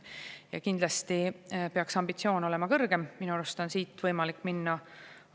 Ja kindlasti peaks ambitsioon olema kõrgem, minu arust tuleb siit edasi minna.